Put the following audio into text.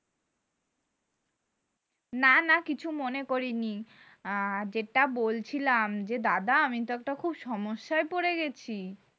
না না কিছু মনে করিনি আ যেটা বলছিলাম যে দাদা আমি তো একটা খুব সমস্যায় পড়ে গেছি